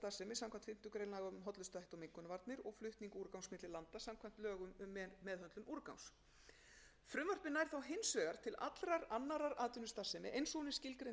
samkvæmt fimmtu grein laga um hollustuhætti og mengunarvarnir og flutning úrgangs milli landa samkvæmt lögum um meðhöndlun úrgangs frumvarpið nær þó hins vegar til allrar annarrar atvinnustarfsemi eins og hún er skilgreind í frumvarpinu þegar um